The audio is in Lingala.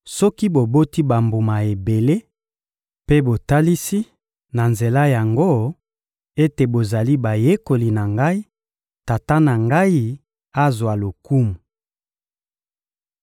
Soki boboti bambuma ebele mpe botalisi, na nzela yango, ete bozali bayekoli na Ngai, Tata na Ngai azwa lokumu.